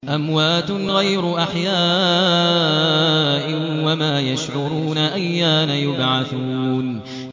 أَمْوَاتٌ غَيْرُ أَحْيَاءٍ ۖ وَمَا يَشْعُرُونَ أَيَّانَ يُبْعَثُونَ